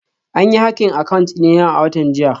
An yi hacking account dina a watan jiya